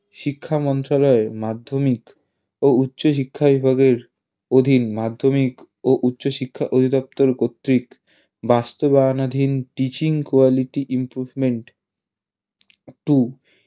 শিক্ষা মন্ত্রণালয়ের মাধ্যমিক ও উচ্চ শিক্ষা অধীন মাধ্যমিক ও উচ্চশিক্ষা অধিদপ্তর কর্তৃক বাস্তবায়নাধীন Teaching quality improvement two